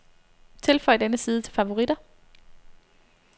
Tilføj denne side til favoritter.